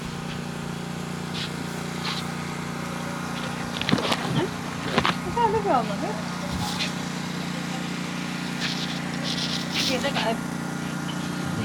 knuni maa leellishanno ? danano maati ? badheenni noori hiitto kuulaati ? mayi horo afirino ? kuni manni dubbu qaccera maa assanni noohooikka